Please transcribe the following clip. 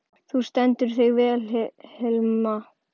Þú stendur þig vel, Hilma!